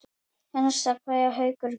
HINSTA KVEÐJA Haukur minn.